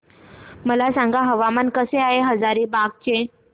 मला सांगा हवामान कसे आहे हजारीबाग चे